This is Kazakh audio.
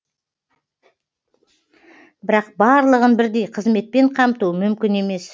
бірақ барлығын бірдей қызметпен қамту мүмкін емес